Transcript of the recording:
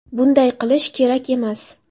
Bunday qilish kerak emas.